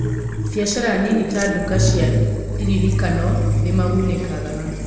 Biacara nini ta nduka cia iririkano nĩ magunĩkaga.